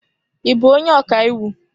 Ị bụ onye ọka iwu?